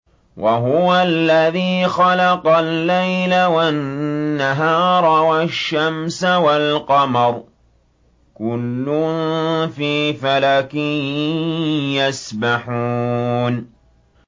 وَهُوَ الَّذِي خَلَقَ اللَّيْلَ وَالنَّهَارَ وَالشَّمْسَ وَالْقَمَرَ ۖ كُلٌّ فِي فَلَكٍ يَسْبَحُونَ